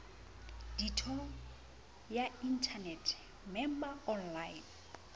ditho ya inthanete member online